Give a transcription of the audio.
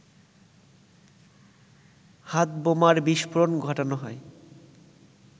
হাতবোমার বিস্ফোরণ ঘটানো হয়